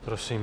Prosím.